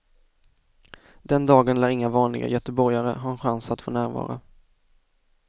Den dagen lär inga vanliga göteborgare ha en chans att få närvara.